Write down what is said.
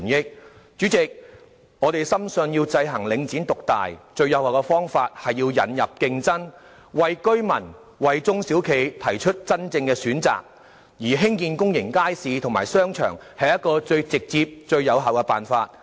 代理主席，我們深信，要制衡領展獨大，最有效的方法是引入競爭，為居民及中小企提供真正選擇，而興建公眾街市及商場是最直接而有效的辦法。